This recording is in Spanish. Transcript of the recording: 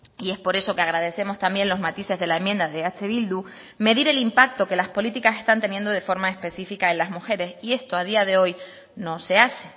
y es por eso que agradecemos también los matices de la enmienda de eh bildu medir el impacto que las políticas están teniendo de forma específica en las mujeres y esto a día de hoy no se hace